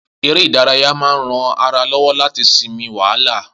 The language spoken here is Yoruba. Eré ìdárayá máa ń rán ara lọ́wọ́ láti sinmi wàhálà